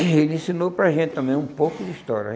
Ele ensinou para a gente também um pouco de história.